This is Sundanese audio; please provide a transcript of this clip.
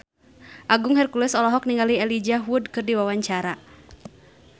Agung Hercules olohok ningali Elijah Wood keur diwawancara